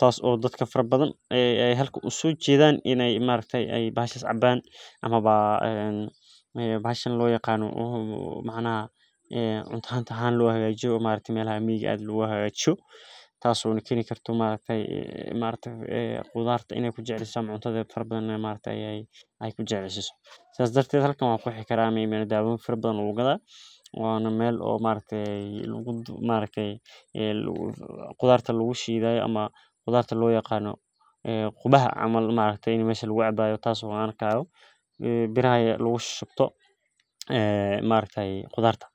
Taas oo dadka farabadan, ah, ay halku usoo jeedaan inay ma araktii ay bahashan cabbaan ama ba, ah, bahashan loo yaqaano, oh, macanaha, cunto han ta han loo hagaajio, ma araktii meel ah miyig aad loo hagaajino. Taas oo kini kartaa ma araktii ah, ma araktii ah, qodartaa inay ku jeclisa, cunto taraa badan, ma araktii ay, ay, ay ku jeclisaa. Saas darteed halkan waa ku xiga raamayn daawo farabado oo logu gadaheh. Waa namel oo ma araktii guud, ma araktii ah, luu, qodarta loo shiidayo ama qodarta loo yaqaano, ah, qubaha amal maalintii in meeshan lagu cabbaayo. Taas oo aan arkaya biraya lagu shubto, ah, ma araktii qodarta.